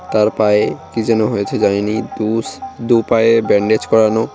তার পায়ে কী যেন হয়েছে জানিনি দুস দু পায়ে ব্যান্ডেজ করানো।